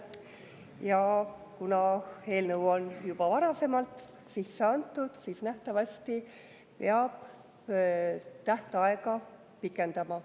Ja kuna eelnõu on juba varasemalt sisse antud, siis nähtavasti peab tähtaega pikendama.